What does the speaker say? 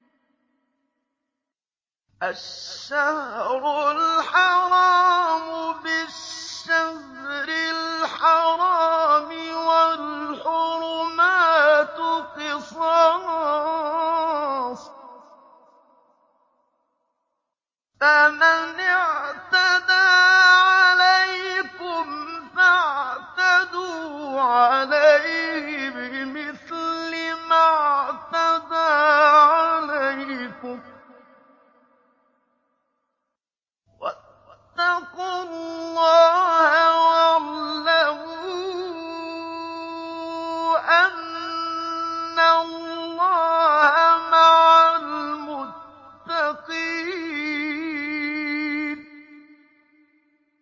الشَّهْرُ الْحَرَامُ بِالشَّهْرِ الْحَرَامِ وَالْحُرُمَاتُ قِصَاصٌ ۚ فَمَنِ اعْتَدَىٰ عَلَيْكُمْ فَاعْتَدُوا عَلَيْهِ بِمِثْلِ مَا اعْتَدَىٰ عَلَيْكُمْ ۚ وَاتَّقُوا اللَّهَ وَاعْلَمُوا أَنَّ اللَّهَ مَعَ الْمُتَّقِينَ